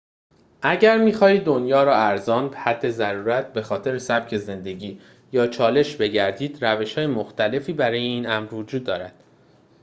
اگر می‌خواهید دنیا را ارزان به حد ضرورت به‌خاطر سبک زندگی یا یک چالش بگردید روش‌های مختلفی برای این امر وجود دارد